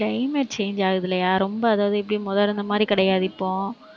climate change ஆகுதில்லையா ரொம்ப அதாவது எப்படி முத இருந்த மாதிரி கிடையாது இப்போ.